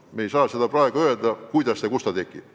Me ei saa praegu öelda, kuidas ja kus identiteet tekib.